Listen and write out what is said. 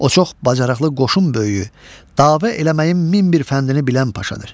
O çox bacarıqlı qoşun böyüyü, dava eləməyin min bir fəndini bilən paşadır.